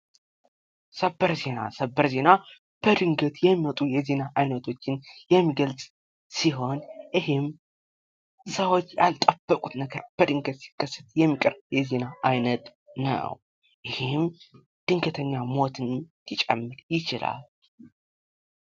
ሰበር ዜና ሰበር ዜና በድገት የሚመጡ የዜና አይነቶችን የሚገልፅ ሲሆን ይሄም ሰዎች ያልጠበቁት ነገር በድገት ሲከሰት የሚቀርብ የዜና አይነት ነው። ይህም ድገተኛ ሞትን ሊጨምር ይችላል።